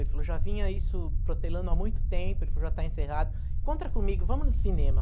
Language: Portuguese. Ele falou, já vinha isso protelando há muito tempo, ele falou, já está encerrado, encontra comigo, vamos no cinema.